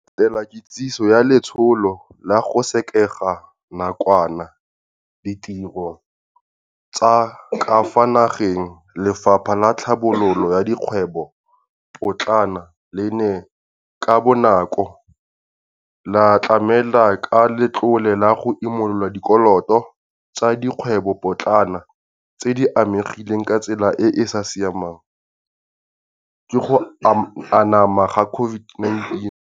Go latela kitsiso ya letsholo la go sekega nakwana ditiro tsa ka fa nageng, Lefapha la Tlhabololo ya Dikgwebopotlana le ne ka bonako la tlamela ka letlole la go imolola dikoloto tsa dikgwebopotlana tse di amegileng ka tsela e e sa siamang ke go anama ga COVID-19.